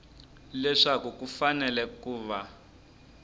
leswaku ku fanele ku va